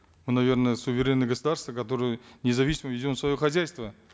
мы наверно суверенное государство которое независимо ведем свое хозяйство